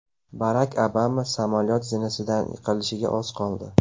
Barak Obama samolyot zinasidan yiqilishiga oz qoldi .